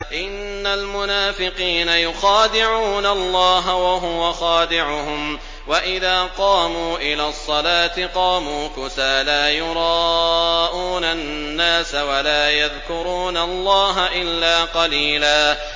إِنَّ الْمُنَافِقِينَ يُخَادِعُونَ اللَّهَ وَهُوَ خَادِعُهُمْ وَإِذَا قَامُوا إِلَى الصَّلَاةِ قَامُوا كُسَالَىٰ يُرَاءُونَ النَّاسَ وَلَا يَذْكُرُونَ اللَّهَ إِلَّا قَلِيلًا